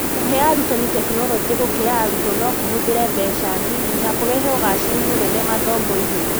Kũhe arutani tekinoronjĩ gũkĩra arutwo no kũhũthĩre mbeca nini na kũrehe ũgaacĩru mũnene mathomo-inĩ.